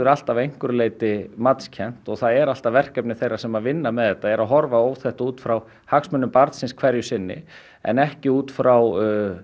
alltaf að einhverju leyti matskennt og það er alltaf verkefni þeirra sem vinna með þetta að horfa á þetta út frá hagsmunum barns hverju sinni en ekki út frá